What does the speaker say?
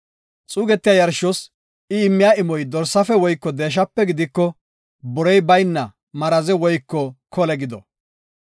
Xuugetiya yarshos I immiya imoy dorsaafe woyko deeshape gidiko, borey bayna maraze woyko kole gido.